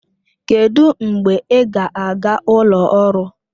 Kedụ mgbe ị ga-aga ụlọ ọrụ?